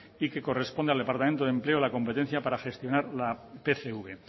y que corresponda al departamento de empleo la competencia para gestionar la pcv